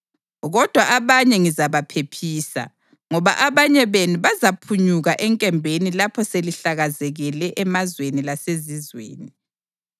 “Kodwa abanye ngizabaphephisa, ngoba abanye benu bazaphunyuka enkembeni lapho selihlakazekele emazweni lasezizweni.